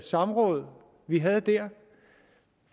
samråd vi havde der